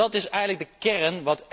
Dat is eigenlijk de kern.